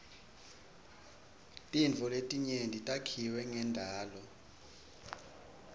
tintfo letinyenti takhiwe ngendalo